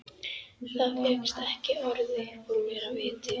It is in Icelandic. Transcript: Það fékkst ekki orð upp úr mér af viti.